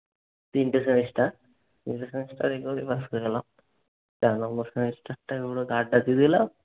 তিনটা semester তিনটা semester এভাবেই পাশ করে গেলাম। চার number semester টাই